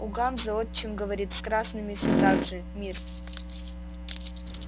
у ганзы отчим говорит с красными всё так же мир